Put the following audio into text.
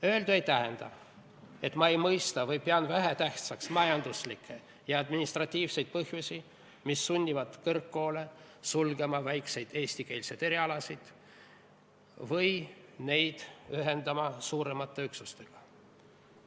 Öeldu ei tähenda, et ma ei mõista või pean vähetähtsaks majanduslikke ja administratiivseid põhjusi, mis sunnivad kõrgkoole sulgema väikseid eestikeelseid erialasid või neid ühendama suuremate üksustega.